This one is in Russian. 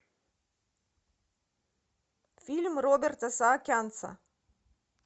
фильм роберта саакянца